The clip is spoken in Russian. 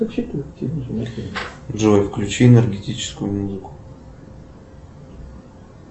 джой включи энергетическую музыку